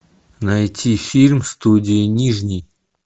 найти фильм студия нижний